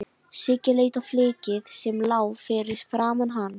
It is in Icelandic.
Siggi leit á flykkið sem lá fyrir framan hann.